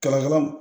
Kalakala